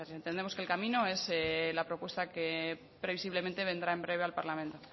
necesarias entendemos que el camino es la propuesta que previsiblemente vendrá en breve al parlamento